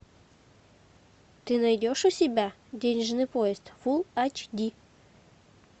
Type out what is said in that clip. ты найдешь у себя денежный поезд фулл эйч ди